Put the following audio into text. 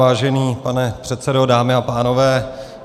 Vážený pane předsedo, dámy a pánové.